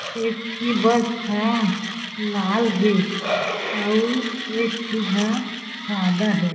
एक ठी बस ह लाल हें अउ एक ठी ह सादा हें।